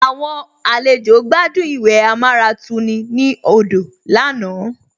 Àwọn àlejò gbádùn ìwẹ̀ amáratuni ní odò lánàá